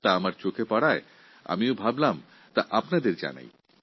তাই আমার মনে হয়েছে এটা আপনাদের কাছে পৌঁছে দিই